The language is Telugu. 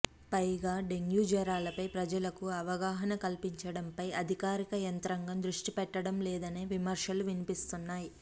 పైగా డెంగీ జ్వరాలపై ప్రజలకు అవగాహన కల్పించడంపై అధికార యంత్రాంగం దృష్టిపెట్టడంలేదనే విమర్శలు వినిపిస్తున్నాయి